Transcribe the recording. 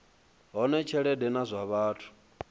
hone tshelede na zwa vhathu